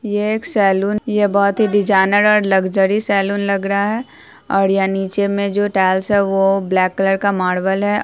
यह एक सैलून यह बहुत ही डिजाइनर और लज्जरी सैलून लग रहा है और यहाँ नीचे में जो टाइल्स है वो ब्लैक कलर का मार्बल है।